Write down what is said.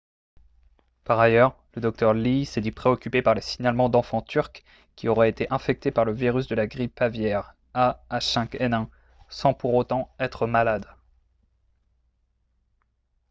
par ailleurs le docteur lee s'est dit préoccupé par les signalements d'enfants turcs qui auraient été infectés par le virus de la grippe aviaire ah5n1 sans pour autant être malades